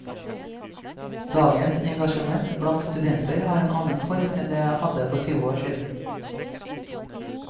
Dagens engasjement blant studenter har en annen form enn det hadde for tyve år siden.